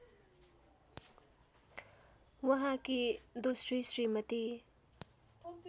उहाँकी दोस्री श्रीमती